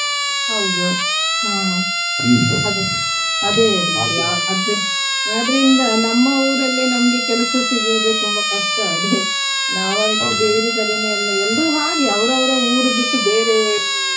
ಹೌದು ಹಾ ಆದ್ರಿಂದ ನಮ್ಮ ಊರಲ್ಲೇ ನಮ್ಗೆ ಕೆಲಸ ಸಿಗುವುದು ತುಂಬಾ ಕಷ್ಟ ಅದೇ ನಾವು ಅದಕ್ಕೆ ಎಲ್ರು ಹಾಗೆ ಅವರವರ ಊರು ಬಿಟ್ಟು ಬೇರೆ.